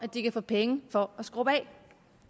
de kan få penge for at skrubbe af